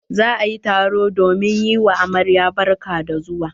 Za a yi taro domin yi wa amaryar barka da zuwa.